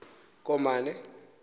komane